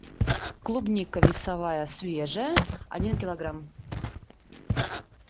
клубника весовая свежая один килограмм